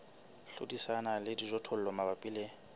hlodisana le dijothollo mabapi le